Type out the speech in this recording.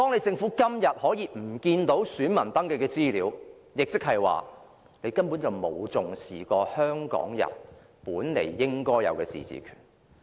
政府現在遺失了選民登記的資料，亦即是說根本沒有重視過香港人本來應有的自治權。